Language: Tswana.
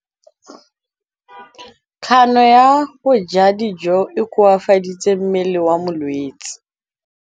Kganô ya go ja dijo e koafaditse mmele wa molwetse.